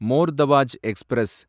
மோர் Tawaj express